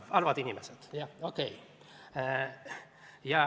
Halvad inimesed!